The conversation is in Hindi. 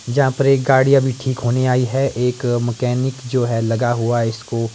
जहां पर एक गाड़ी अभी ठीक होने आई है एक मैकेनिक जो है लगा हुआ है इसको--